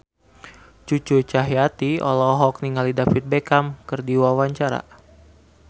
Cucu Cahyati olohok ningali David Beckham keur diwawancara